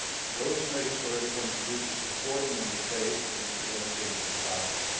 Those measures already contribute to supporting Member States in preventing the violence.